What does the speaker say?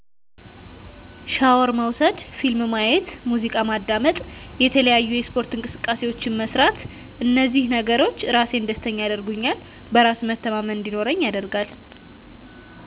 ሻወር መውሰድ ፊልም ማየት ሙዚቃ ማዳመጥ የተለያዪ የስፓርት እንቅስቃሴዎችን መስራት እንዚህ ነገሮች ራሴን ደስተኛ ያደርጉኛል በራስ መተማመን እንዲኖረኝ ያደርጋል